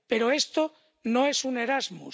Pero esto no es un Erasmus.